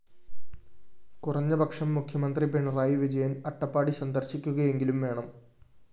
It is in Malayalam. കുറഞ്ഞപക്ഷം മുഖ്യമന്ത്രി പിണറായി വിജയന്‍ അട്ടപ്പാടി സന്ദര്‍ശിക്കുകയെങ്കിലും വേണം